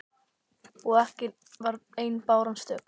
Og ekki var ein báran stök.